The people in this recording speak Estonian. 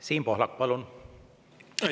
Siim Pohlak, palun!